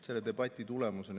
See oli debatt, mis siin toimus.